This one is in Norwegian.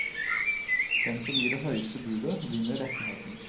Den som gir det høyeste budet, vinner rettigheten.